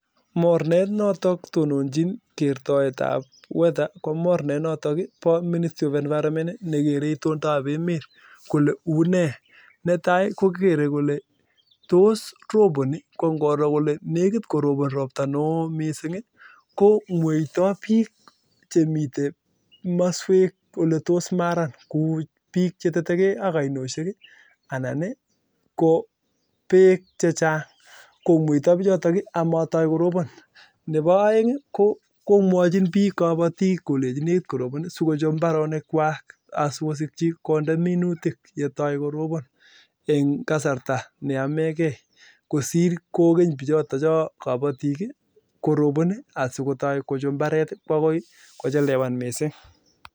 Mornet notok toninchin kertoet ab (weather) konotok bo ministry of environment nekeree itondoo ab emet netai kokeree kolee tos roboni kongoroo kole nekit korobon robtaa noo komwetoo bik chemitei maswek oletos maran neboo aeng komwachin bik kabatik kolechin nekit korobon sikochob mbaronik kwak engasarta nemakat